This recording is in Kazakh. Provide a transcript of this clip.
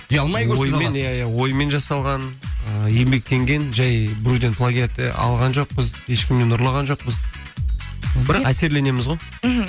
ұялмай көрсете аласыз иә иә оймен жасалған ы еңбектенген жай біреуден плагиат алған жоқпыз ешкімнен ұрлаған жоқпыз бірақ әсерленеміз ғой мхм